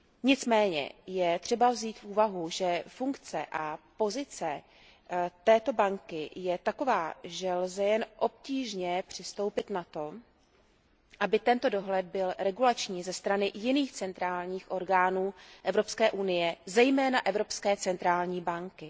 Nicméně je třeba vzít v úvahu, že funkce a pozice této banky je taková, že lze jen obtížně přistoupit na to, aby tento dohled byl regulační ze strany jiných centrálních orgánů Evropské unie, zejména Evropské centrální banky.